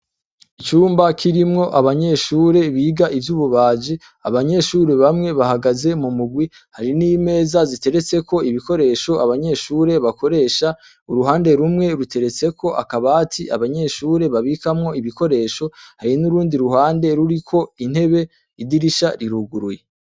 Icumba kirimwo abanyeshure biga ivy'ububaji, abanyeshure bamwe bahagaze mu mugwi, hari n'imeza ziteretseko ibikoresho abanyeshure bakoresha, uruhande rumwe ruteretseko akabati abanyeshure babikamwo ibikoresho, hari n'urundi ruhande ruriko intebe, idirisha riruguruye.